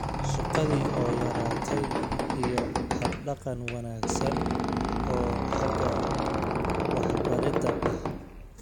Shaqadii oo yaraatay iyo hab-dhaqan wanaagsan oo xagga waxbaridda ah.